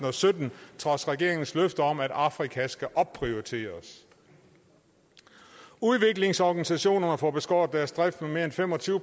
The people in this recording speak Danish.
og sytten trods regeringens løfter om at afrika skal opprioriteres udviklingsorganisationerne får beskåret deres drift med mere end fem og tyve